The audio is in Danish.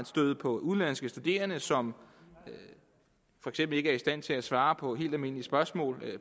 støder på udenlandske studerende som for eksempel ikke er i stand til at svare på helt almindelige spørgsmål